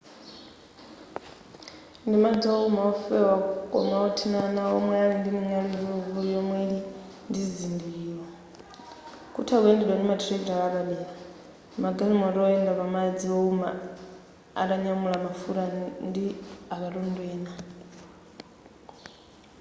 ndimadzi ouma ofewa koma othinana omwe ali ndi ming'alu ikuluikulu yomwe ili ndizizindikiro kutha kuyendedwa ndi ma thirakitale apadera magalimoto oyenda pamadzi owuma atanyamula mafuta ndi akatundu ena